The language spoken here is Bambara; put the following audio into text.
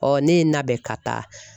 ne ye n labɛn ka taa.